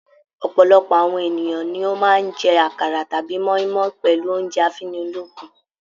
Ọ̀pọ̀lọpọ̀ àwọn ènìyàn ni ó máa ń jẹ àkàrà tàbí moimoi pẹlú oúnjẹ afunilokun.